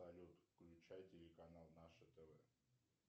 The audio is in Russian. салют включай телеканал наше тв